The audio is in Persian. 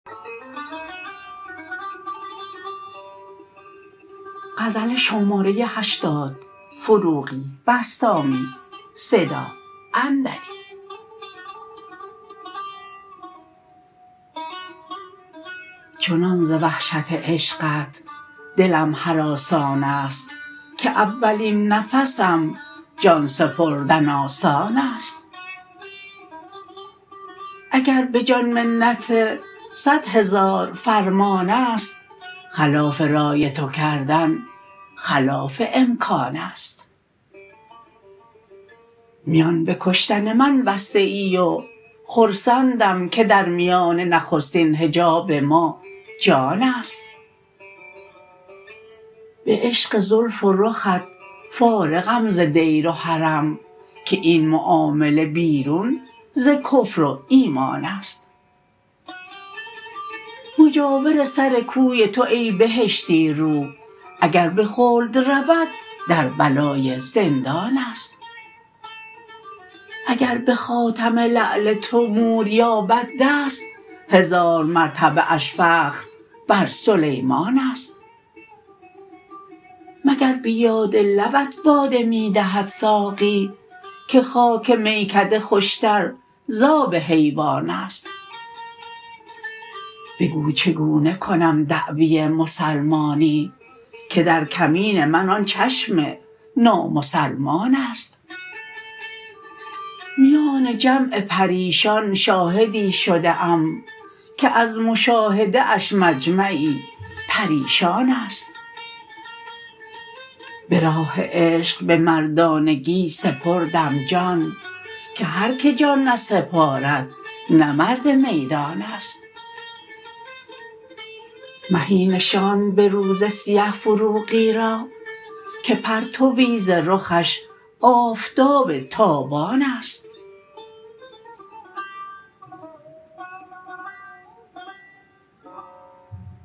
چنان ز وحشت عشقت دلم هراسان است که اولین نفسم جان سپردن آسان است اگر به جان منت صدهزار فرمان است خلاف رای تو کردن خلاف امکان است میان به کشتن من بسته ای و خرسندم که در میانه نخستین حجاب ما جان است به عشق زلف و رخت فارغم ز دیر و حرم که این معامله بیرون ز کفر و ایمان است مجاور سر کوی تو ای بهشتی رو اگر به خلد رود در بلای زندان است اگر به خاتم لعل تو مور یابد دست هزار مرتبه اش فخر بر سلیمان است مگر به یاد لبت باده می دهد ساقی که خاک میکده خوش تر ز آب حیوان است بگو چگونه کنم دعوی مسلمانی که در کمین من آن چشم نامسلمان است میان جمع پریشان شاهدی شده ام که از مشاهده اش مجمعی پریشان است به راه عشق به مردانگی سپردم جان که هر که جان نسپارد نه مرد میدان است مهی نشاند به روز سیه فروغی را که پرتوی ز رخش آفتاب تابان است